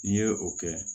N'i ye o kɛ